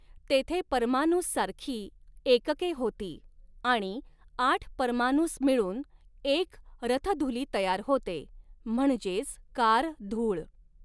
तेथे परमानुस सारखी एकके होती आणि आठ परमानुस मिळून एक रथधुली तयार होते म्हणजेच कार धूळ.